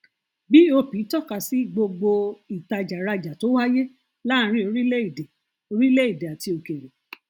bop tọka sí gbogbo ìtajàrajà tó wáyé láàárín orílẹèdè orílẹèdè àti òkèèrè